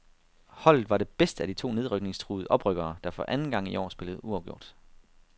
Holdet var det bedste af de to nedrykningstruede oprykkere der for anden gang i år spillede uafgjort.